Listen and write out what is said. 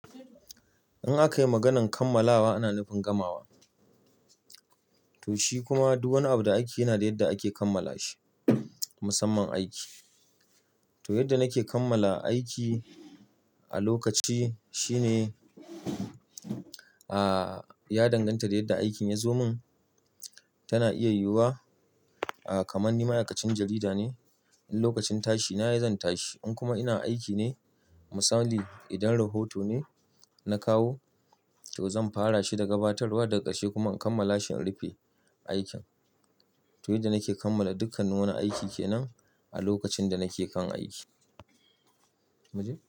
In akayi maganar kammalawa ana nufin gamawa to shi kuma duk wani abu da aiki yana da yadda ake kammala shi. Musamman aiki to yadda nake kammala aiki a lokaci shine, ah ya danganta da yadda aikin ya zo mun tana iya yiwuwa, ah kamar ni ma'aikacin jarida ne in lokacin tashi na yanzan tashi in kuma ina aiki ne misali idan rahoto ne na kawo to zan fara shi da gabatarwa daga ƙarshe kuma in kammala shi in rufe aikin. To, yadda nake kammala dukkanin wani aiki kenan a lokacin da nake kan aiki. Muji?